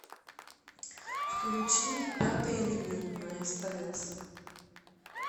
включи пятый элемент на стс